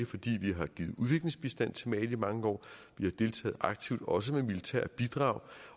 fordi vi har givet udviklingsbistand til mali i mange år vi har deltaget aktivt også med militære bidrag